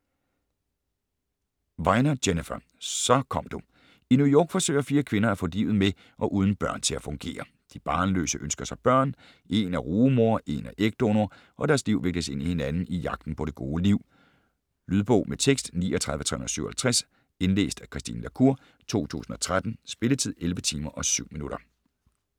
Weiner, Jennifer: Så kom du I New York forsøger fire kvinder at få livet med og uden børn til at fungere. De barnløse ønsker sig børn, en er rugemor, en er ægdonor og deres liv vikles ind i hinanden i jagten på det gode liv. Lydbog med tekst 39357 Indlæst af Christine la Cour, 2013. Spilletid: 11 timer, 7 minutter.